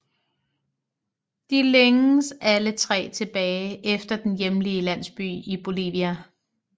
De længes alle tre tilbage efter den hjemlige landsby i Bolivia